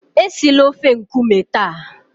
esila ofe nkume taa!